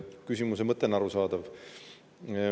Küsimuse mõte on arusaadav.